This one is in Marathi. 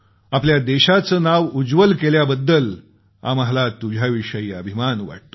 आपल्या देशाचं नाव उज्ज्वल केल्याबद्दल आम्हाला तुझ्याविषयी अभिमान वाटतो